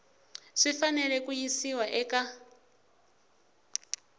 swi fanele ku yisiwa eka